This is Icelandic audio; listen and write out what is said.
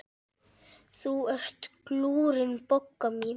Þú ert glúrin, Bogga mín.